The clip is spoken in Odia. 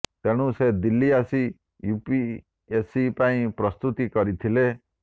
ତେଣୁ ସେ ଦିଲ୍ଲୀ ଆସି ୟୁପିଏସସି ପାଇଁ ପ୍ରସ୍ତୁତି କରିଥିଲେ